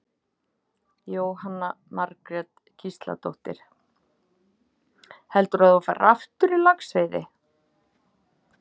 Jóhanna Margrét Gísladóttir: Heldurðu að þú farir aftur í laxveiði?